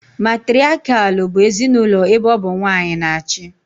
Matiriakial bụ ezinaụlọ ebe ọ bụ nwanyị na achị